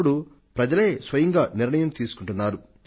ఇప్పుడు ప్రజలే స్వయంగా నిర్ణయం తీసుకొంటున్నారు